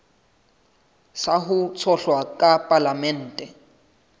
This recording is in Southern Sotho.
sa ho tshohlwa ka palamenteng